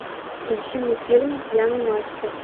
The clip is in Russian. включи мне фильм пьяный мастер